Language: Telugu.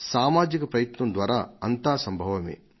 సామాజిక ప్రయత్నం ద్వారా అంతా సంభవమే